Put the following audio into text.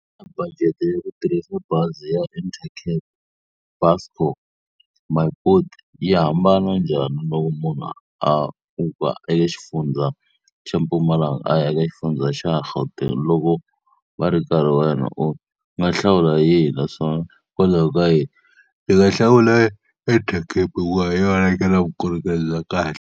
Xana budget ya ku tirhisa bazi ya Intercape, Buscor, My Boet yi hambana njhani loko munhu a suka eka xifundza xa Mpumalanga a ya eka xifundza xa Gauteng. Loko u nga hlawula yihi naswona hikokwalaho ka yini? Ni nga hlawula Intercape hikuva hi yona leyi nga na vukorhokeri bya kahle.